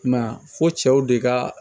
I m'a ye a fɔ cɛw de ka